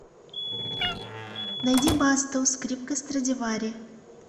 найди басту скрипка страдивари